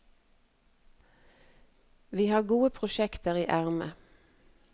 Vi har gode prosjekter i ermet.